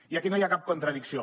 i aquí no hi ha cap contradicció